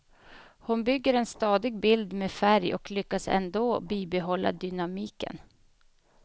Hon bygger en stadig bild med färg och lyckas ändå bibehålla dynamiken.